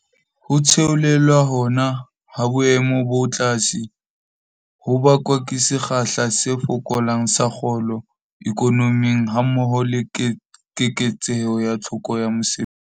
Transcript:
Ho theolelwa hona ha boemo bo tlase ho bakwa ke sekgahla se fokolang sa kgolo ikonoming hammoho le keketseho ya tlhoko ya mesebetsi.